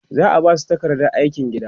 za'a Basu takardar aikin gida